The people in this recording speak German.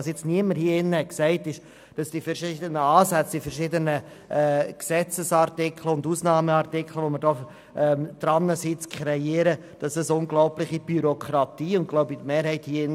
Was hier niemand gesagt hat, ist, dass die verschiedenen Ansätze, Gesetzesartikel und Ausnahmeartikel, welche wir kreieren, unglaubliche Bürokratie bei den Sozialhilfestellen der Gemeinden zur Folge haben.